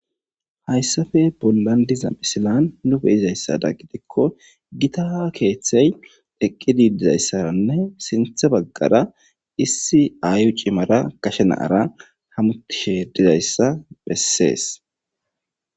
Hayssafe bollandiza misilan nu beyizayssada gidikko gita keeththey eqqididizayssaranne sinthe baggara issi aayu cimara kashe naara hamutishedizayssa bessees.